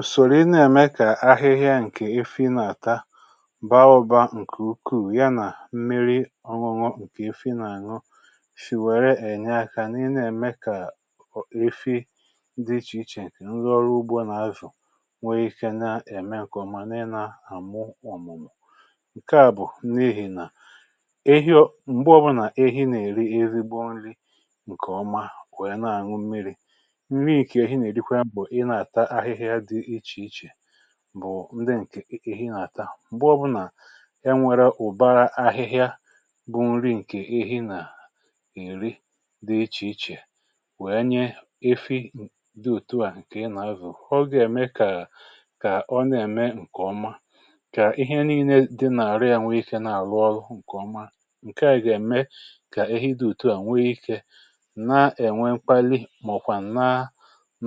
ùsòrò ị na-ème kà ahịhịa ǹkè ịfị na-àta bụ anụbȧ ǹkè ukwuu ya nà mmiri ọṅụṅụ ǹkè ịfị na-àṅụ sì wère ènye akȧ um n’ị na-ème kà rifi dị ichè ichè ǹkè ngọrụ ugbȯ nà-azụ̀ nwee ike na-ème kà ọ bụrụ ǹkè ọma n’ị na-àmụ ọ̀mụ̀mụ̀ ǹke à bụ̀ n’ihì nà ehi nà m̀gbe ọbụnà ehi nà-èri erigbo ǹri ǹkèọma wère na-àṅụ mmiri̇ bụ ndị ǹkè ehi nà-ata m̀gbọ bụ nà enwèrè ụ̀ba ahịhịa bu nri ǹkè ehi nà-ihi dị ichè ichè wee nye efi dị ùtu à ǹkè ị nà-ezù ọgà ème kà ọ na-ème ǹkè ọma kà ihe nííle dị nà-àrụ ya nwee ikė na-àrụ ọlụ ǹkè ọma ǹke à nà-ème kà ehi dị ùtu à nwee ikė na-ènwe mkpali màọ̀kwà̀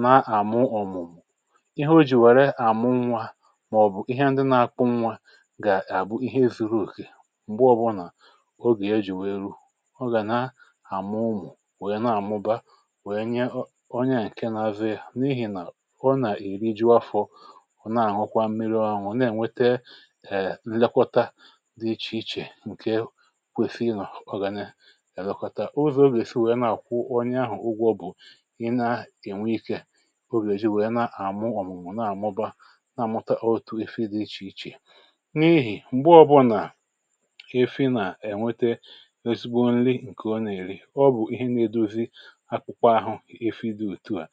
na àmụ ọ̀mụ̀mụ̀ màọ̀bụ̀ ihe ndị na-akwụ nwa gà-àbụ ihe èzuru òkè m̀gbe ọbụnà ogè ya jì wèe ruo ọ gà na-àmụ ụmụ̀ wèe na-àmụba wèe nye ọ onye ǹke na-azụ yȧ n’ihì nà ọ nà-èriju afọ̇ um ọ na-àhụkwa mmiri ahụ̀ wèe na-ènwete ǹlekọta dị ichè ichè ǹkè kwèsì ịnọ̀ ọ gà na-àlụkọta ụzọ̇ ogè si wèe na-àkwụ onye ahụ̀ ụgwọ um bụ̀ ịna ènwe ikė na-amụta otu ife dị ichè ichè n’ihì m̀gbe ọbụnà afi nà ènwete ezigbo nli ǹkè ọ nà-èri ọ bụ̀ ihe na-edozi akpụkwa ahụ̀ ife dị òtù ha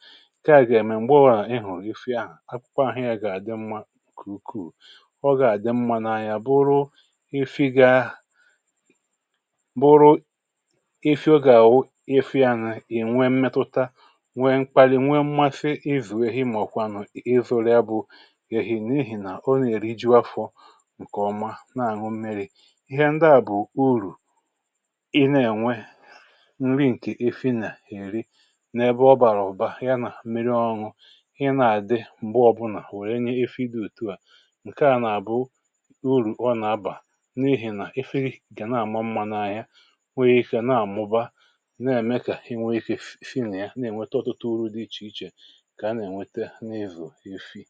kem̀ gà-ème m̀gbe wà ị hụ̀ ife ahụ̀ akpụkwa ahụ̀ ya gà-àdị mmȧ kwùkwù ọ gà-àdị mmȧ n’ahịa bụrụ ife ya bụrụ ife ọ gà-àwụ ife anị ì nwe mmetuta nwee mkpali nwee mmasị n’ihì nà o nà-èri jiafọ̇ ǹkè ọma na-àñụ mmiri̇ ihe nda à bụ̀ urù ị na-ènwe nri ǹkè efi nà-èri n’ebe ọ bàrà ụ̀ba ya nà miri ọñụ̇ i nà-àdị m̀gbe ọ̇bụ̇nà wèe nye efi dị̇ òtu à ǹkè a nà-àbụ urù ọ nà-abà n’ihì nà efi gà na-àma mmȧ na ya we ė ike na-àmụba na-èmekà iwėekà efi nà ya na-ènweta ọtụtụ uru̇ dị ichè ichè enwėghị